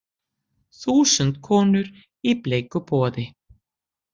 Þúsund konur í bleiku boði